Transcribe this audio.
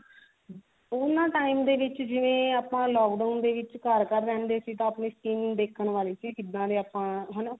ਉਹਨਾਂ time ਦੇ ਵਿੱਚ ਜਿਵੇਂ ਆਪਾਂ lockdown ਦੇ ਵਿੱਚ ਘਰ ਘਰ ਰਹਿੰਦੇ ਸੀ ਤਾਂ ਆਪਣੀ skin ਦੇਖਣ ਵਾਲੀ ਸੀ ਕਿਦਾਂ ਦੇ ਆਪਾਂ ਹਨਾ